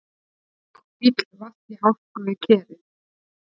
Bíll valt í hálku við Kerið